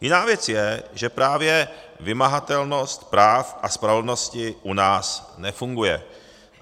Jiná věc je, že právě vymahatelnost práva a spravedlnosti u nás nefunguje.